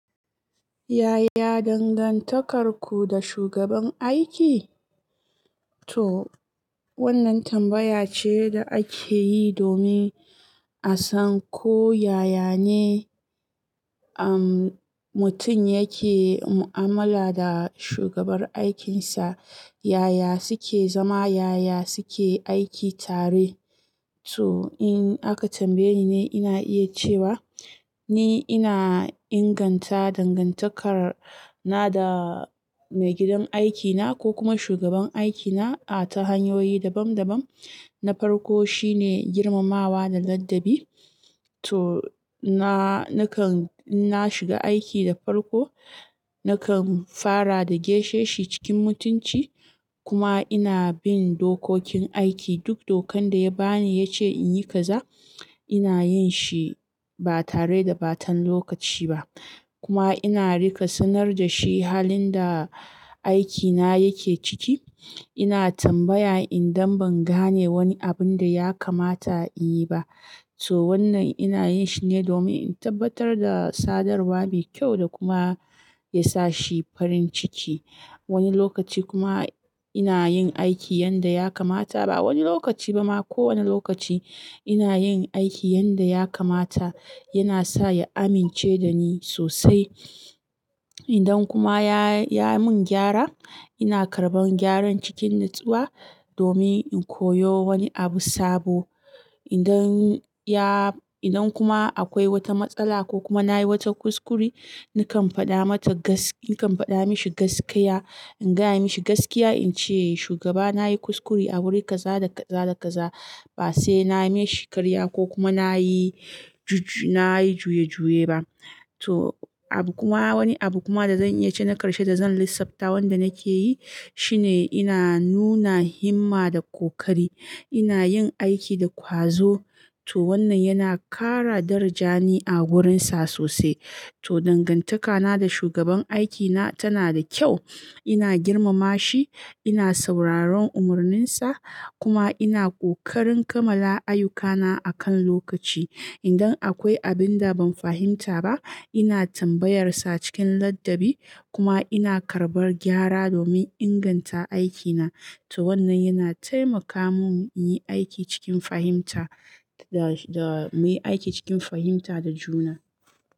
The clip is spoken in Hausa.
Yaya dangantakarku da shugaban aiki? To wannan tambaya ce da ake yi domin a san ko yaya ne, am, mutum yake mu'amala da shugabar aikinsa. Yaya suke zama, yaya suke aiki tare. To in aka tambaye ni ne ina iya cewa ni ina inganta dangantakar na da maigidan aikina ko kuma shugaban aikina a ta hanyoyi dabam dabam. Na farko shine girmamawa da ladabi. To na-- nakan in na shiga aiki da farko, nakan fara da geshe shi cikin mutunci kuma ina bin dokokin aiki. Duk dokan da ya ba ni ya ce in yi kaza, ina yin shi ba tare da ba tan lokaci ba. Kuma ina rika sanar da shi halin da aikina yake ciki. Ina tambaya idan ban gane wani abun da ya kamata in yi ba. To wannan ina yin shi ne domin in tabbatar da sadarwa mai kyau da kuma ya sa shi farin ciki. Wani lokaci kuma ina yin aiki yanda ya kamata ba wani lokaci ba ma, kowane lokaci ina yin aiki yanda ya kamata yana sa ya amince da ni sosai. Idan kuma ya, ya mun gyara ina karɓan gyaran cikin natsuwa domin in koyo wani abu sabo. Idan ya-- idan kuma akwai wata matsala ko kuma na yi wata kuskure, nakan faɗa mata gaskiya-- nakan faɗa mashi gaskiya, in gaya mashi gaskiya in ce, "Shugaba na yi kuskure a wurin kaza da kaza da kaza." Ba sai na yi mashi karya ko kuma na yi juju-- na yi juye juye ba. To abu kuma wani abu kuma da zan iya ce na ƙarshe da zan lissafta wanda nake yi shine ina nuna himma da ƙoƙari. Ina yin aiki da ƙwazo. To wannan yana ƙara daraja ni a wurinsa sosai. To dangantakana da shugaban aikina tana da kyau. Ina girmama shi, ina sauraron umarninsa kuma ina ƙoƙarin kammala ayyukana a kan lokaci. Idan akwai abin da ban fahimta ba, ina tambayarsa cikin ladabi kuma ina karɓar gyara domin inganta aikina. To wannan yana taimaka mun in yi aiki cikin fahimta da, da muyi aiki cikin fahimta da juna.